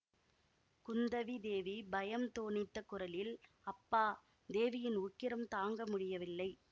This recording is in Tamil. குந்தவி தேவி பயம் தோனித்த குரலில் அப்பா தேவியின் உக்கிரம் தாங்க முடியவில்லை